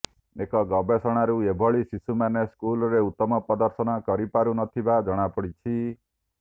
ଏକ ଗବେଷଣାରୁ ଏଭଳି ଶିଶୁମାନେ ସ୍କୁଲରେ ଉତ୍ତମ ପ୍ରଦର୍ଶନ କରିପାରୁନଥିବା ଜଣାପଡିଛି